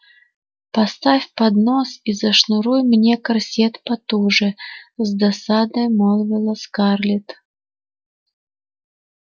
поставь поднос и зашнуруй мне корсет потуже с досадой молвила скарлетт